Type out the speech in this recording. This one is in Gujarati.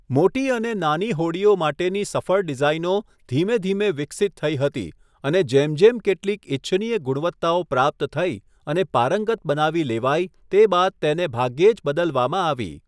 મોટી અને નાની હોડીઓ માટેની સફળ ડિઝાઇનો ધીમે ધીમે વિકસિત થઇ હતી અને જેમ જેમ કેટલીક ઇચ્છનીય ગુણવત્તાઓ પ્રાપ્ત થઇ અને પારંગત બનાવી લેવાઇ તે બાદ તેને ભાગ્યે જ બદલવામાં આવી.